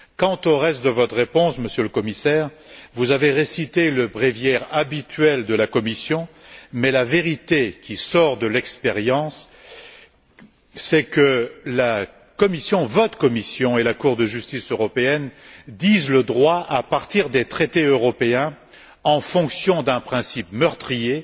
Quant au reste de votre réponse, Monsieur le Commissaire, vous avez récité le bréviaire habituel de la Commission mais la vérité qui sort de l'expérience, c'est que la Commission, votre Commission et la Cour de justice européenne disent le droit à partir des traités européens en fonction d'un principe meurtrier,